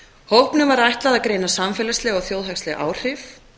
hópnum var ætlað að greina samfélagsleg og þjóðhagsleg áhrif